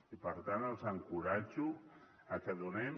i per tant els encoratjo a que donem